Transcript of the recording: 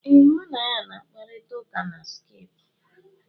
Ee, mụ na ya na-akparịta ụka na skaipụ.